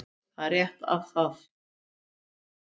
Það er rétt að það